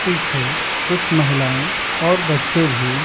पीछे कुछ महिलाएं और बच्चे भी --